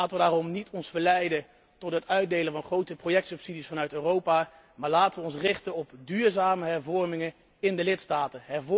Laten wij ons daarom niet verleiden tot het uitdelen van grote projectsubsidies vanuit Europa, maar laten wij ons richten op duurzame hervormingen in de lidstaten.